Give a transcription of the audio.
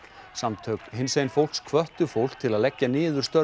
samtök hinsegin fólks hvöttu fólk til að leggja niður störf